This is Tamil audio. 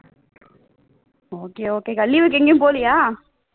okay okay அக்கா leave க்கு எங்கேயும் போகலையா